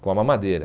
com a mamadeira.